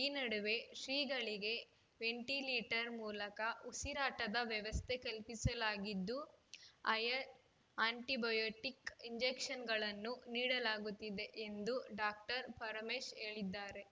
ಈ ನಡುವೆ ಶ್ರೀಗಳಿಗೆ ವೆಂಟಿಲೇಟರ್‌ ಮೂಲಕ ಉಸಿರಾಟದ ವ್ಯವಸ್ಥೆ ಕಲ್ಪಿಸಲಾಗಿದ್ದು ಹೈಯರ್‌ ಆ್ಯಂಟಿಬಯೋಟಿಕ್‌ ಇಂಜೆಕ್ಷನ್‌ಗಳನ್ನು ನೀಡಲಾಗುತ್ತಿದೆ ಎಂದು ಡಾಕ್ಟರ್ ಪರಮೇಶ್‌ ಹೇಳಿದ್ದಾರೆ